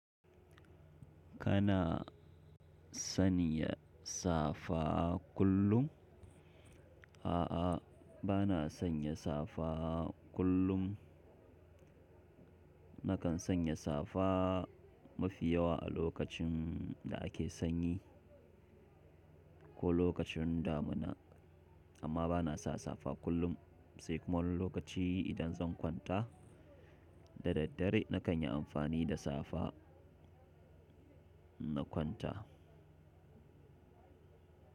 Kana sanya safa kullum? A'a, bana sanya safa kullum. Nakan sanya safa mafi yawa a lokacin da ake sanyi ko lokacin damuna, amma bana sa safa kullum. Sai kuma lokaci idan zan kwanta da daddare, na kan yi amfani da safa na kwanta.